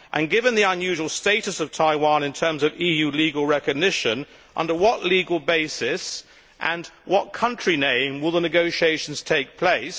Given the unusual status of Taiwan in terms of EU legal recognition, under what legal basis and what country name will the negotiations take place?